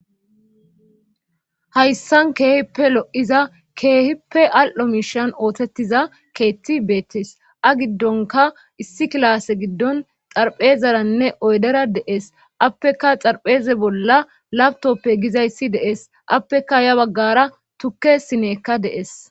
Hayssan keehippe lo7iza keehippe al7o miishan oosettiza keethi beettees a giddonkka issi kilaase giddon xarphezaranne oydera de7ees appeka xarpheeza bolla lapitooppe gizayssi de7ees appeka ya baggaara tukke sineykka de7ees.